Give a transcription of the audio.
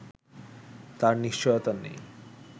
তার নিশ্চয়তা নেই